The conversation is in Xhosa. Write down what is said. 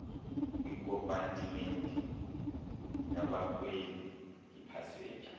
kwikompatimenti yabakhweli iipasenja